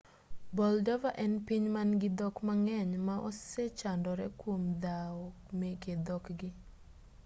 moldova en piny man-gi dhok mang'eny ma osechandore kuom dhawo meke dhokgi